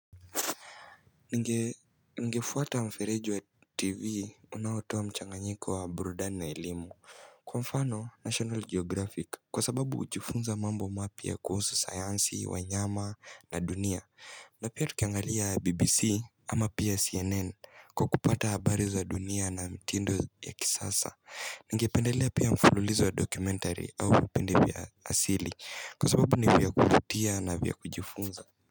Ninge, nigefuata mfereji wa tv unaotoa mchanganyiko wa burudani na elimu. Kwa mfano, national geographic, kwa sababu hujifunza mambo mapya kuhusu sayansi, wanyama na dunia na pia tukiangalia BBC, ama pia CNN kwa kupata habari za dunia na mitindo ya kisasa Ningependelea pia mfululizo wa documentary, au vipindi vya asili, kwa sababu ni vya kuvutia na vya kujifunza.